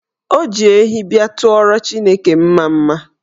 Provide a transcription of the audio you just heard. O ji ehi bịa tụọrọ Chineke mmamma.